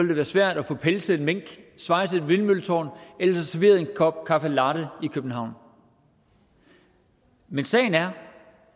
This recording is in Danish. det være svært at få pelset en mink svejset et vindmølletårn eller få serveret en kop caffe latte i københavn men sagen er